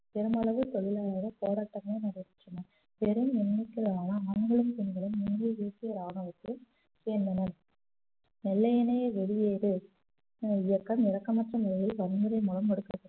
பெருமளவு தொழிலாளர்கள் போராட்டமும் நடைபெற்றனர் பெரும் எண்ணிக்கைகளான ஆண்களும் பெண்களும் இந்திய தேசிய ராணுவத்தை சேர்ந்தனர் வெள்ளையனை வெளியேறு அஹ் இயக்கம் இரக்கமற்ற முறையில் வன்முறை மூலம்